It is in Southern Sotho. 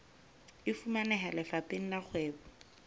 e fumaneha lefapheng la kgwebo